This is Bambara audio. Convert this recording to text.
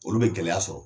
Olu bɛ gɛlɛya sɔrɔ